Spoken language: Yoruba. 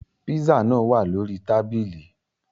Pízzà nàa wạ̀ lórí tábìlì.